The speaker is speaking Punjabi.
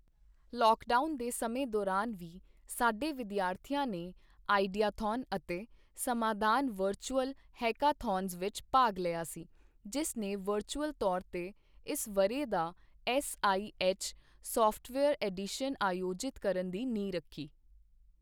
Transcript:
ਲੌਕਡਾਊਨ ਦੇ ਸਮੇਂ ਦੌਰਾਨ ਵੀ ਸਾਡੇ ਵਿਦਿਆਰਥੀਆਂ ਨੇ ਆਈਡੀਆਥੋਨ ਅਤੇ ਸਮਾਧਾਨ ਵਰਚੁਅਲ ਹੈਕਾਥੌਨਜ਼ ਵਿੱਚ ਭਾਗ ਲਿਆ ਸੀ, ਜਿਸ ਨੇ ਵਰਚੁਅਲ ਤੌਰ ਤੇ ਇਸ ਵਰ੍ਹੇ ਦਾ ਐੱਸਆਈਐੱਚ ਸੌਫ਼ਟਵੇਅਰ ਐਡੀਸ਼ਨ ਆਯੋਜਿਤ ਕਰਨ ਦੀ ਨੀਂਹ ਰੱਖੀ।